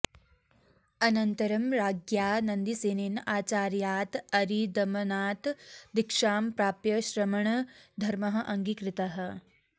अनन्तरं राज्ञा नन्दीसेनेन आचार्यात् अरिदमनात् दीक्षां प्राप्य श्रमणधर्मः अङ्गीकृतः